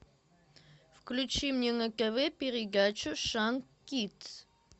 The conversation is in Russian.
включи мне на тв передачу шант кидс